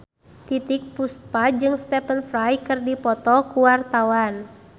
Titiek Puspa jeung Stephen Fry keur dipoto ku wartawan